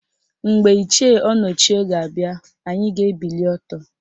Mgbe Ichie Ọnọchie ga-abịa, anyị ga-ebili ọtọ